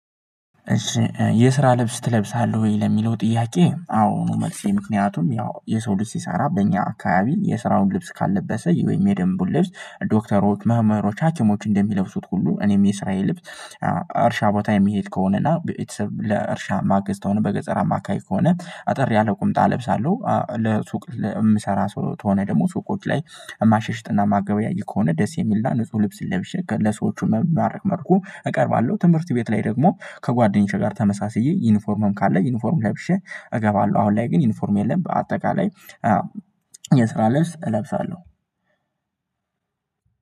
እሺ የስራ ልብስ ትለብሳለህ ወይ? ለሚለው ጥያቄ አዎ ነው መልሴ ምክንያቱም ያው የሰው ልጅ ሲሰራ በእኛ አካባቢ የስራውን ልብስ ካልለበሰ ወይም የደንቡን ልብስ ዶክተሮች መምህሮች ሀኪሞች እንደሚለብሱት ሁሉ እኔም የስራዬ ልብስ። እርሻ ቦታ የሚሄድ ከሆነና ቤተሰብ ለእርሻ ማገዝ ተሆነ በገጸር አማ አካባቢ ከሆነ አጠር ያለ ቁምጣ ለብሳለሁ። ለሱቅ የምሰራ ሰው ተሆነ ደግሞ ሱቆች ላይ ማሸሽጥና ማገበያይ ከሆነ ደስ የሚልና ንጹህ ልብስ ለብሼ ለሰዎቹ በሚማርክ መልኩ እቀርባለሁ። ትምህርት ቤት ላይ ደግሞ ከጓደኞቼ ጋር ተመሳስዬ ዩኒፎርምም ካለ ዩኒፎርም ላይ ለብሼ እገባለሁ። አሁን ላይ ግን ዩኒፎርም የለም። በአጠቃላይ የስራ ልብስ እለብሳለሁ።